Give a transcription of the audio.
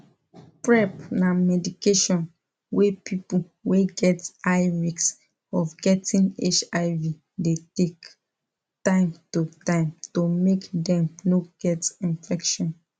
prep na medication wey people wey get high risk of getting hiv de take time to time to mk dem no get infection